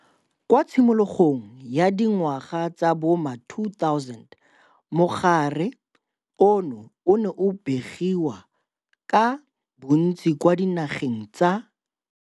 Kwa tshimologong ya di ngwaga tsa bo ma-2000 mogare ono o ne o begiwa ka bontsi kwa dinageng tsa.